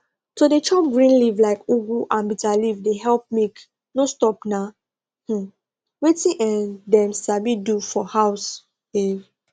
to dey chop green leaf like ugu and bitterleaf dey help milk no stop na um wetin um dem sabi do for house um